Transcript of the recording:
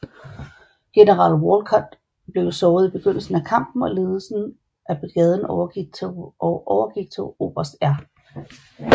General Walcutt blev såret i begyndelsen af kampen og ledelsen af brigaden overgik til oberst R